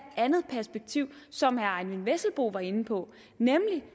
andet perspektiv som herre eyvind vesselbo var inde på nemlig